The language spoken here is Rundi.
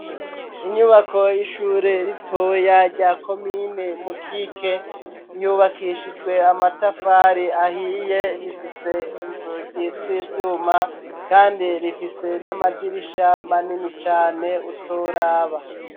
Inyubako y'ishure ritoya rya komine mukike yubakishijwe amatafari ahiye rifise inzugi rz'ibyuma kandi rifise n'amadirisha manini cyane utoraba.